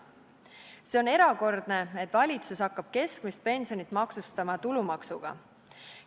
See on erakordne, et valitsus hakkab keskmist pensionit tulumaksuga maksustama.